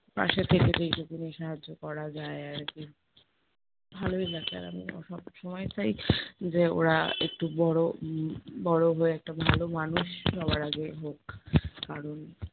পাশে থেকে যেইটুকুনি সাহায্য করা যায় আরকি। ভালোই লাগে, আর আমিও সবসময় চাই, যে ওরা একটু বড়ো উম বড়ো হয়ে একটা ভালো মানুষ সবার আগে হোক, কারণ